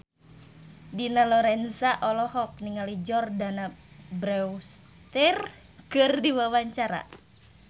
Dina Lorenza olohok ningali Jordana Brewster keur diwawancara